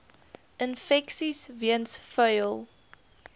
infeksies weens vuil